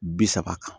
Bi saba kan